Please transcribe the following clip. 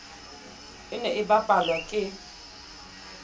e ne e bapalwa ke